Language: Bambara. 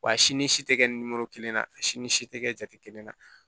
Wa si ni si tɛ kɛ ni kelen na si ni si tɛ kɛ jate kelen na